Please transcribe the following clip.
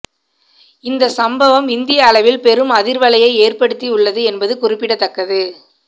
இந்த சம்பவம் இந்திய அளவில் பெரும் அதிர்வலையை ஏற்படுத்தி உள்ளது என்பது குறிப்பிடத்தக்கது